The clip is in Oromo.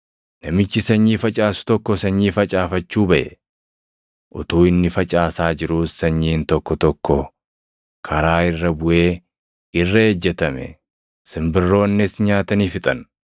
“Namichi sanyii facaasu tokko sanyii facaafachuu baʼe. Utuu inni facaasaa jiruus sanyiin tokko tokko karaa irra buʼee irra ejjetame; simbirroonnis nyaatanii fixan.